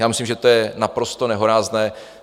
Já myslím, že to je naprosto nehorázné.